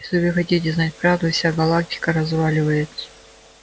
если вы хотите знать правду вся галактика разваливается